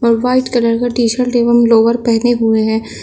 White colour का T shirt एवं lower पहने हुए है।